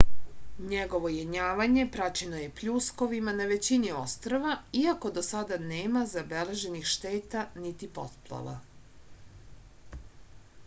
njegovo jenjavanje praćeno je pljuskovima na većini ostrva iako do sada nema zabeleženih šteta niti poplava